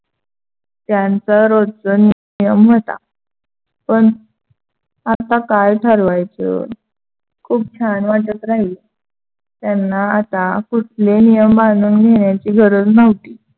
त्यांच रोजच नियम होता. पण आता काय ठरवायचं? खूप छान वाटत राहिलं. त्यांना आता कुठले नियम बांधून घेण्याची गरज नव्हती.